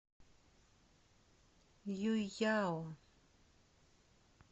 юйяо